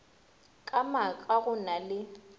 ka maaka go na le